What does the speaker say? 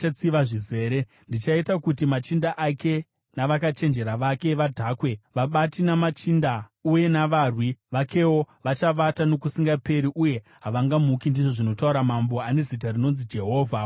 Ndichaita kuti machinda ake navakachenjera vake vadhakwe, vabati, namachinda uye navarwi vakewo; vachavata nokusingaperi uye havangamuki,” ndizvo zvinotaura Mambo, ane zita rinonzi Jehovha Wamasimba Ose.